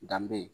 Danbe